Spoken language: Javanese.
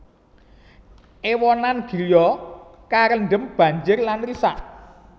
Ewonan griya karendem banjir lan risak